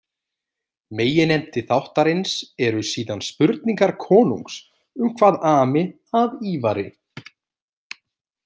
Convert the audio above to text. Meginefni þáttarins eru síðan spurningar konungs um hvað ami að Ívari.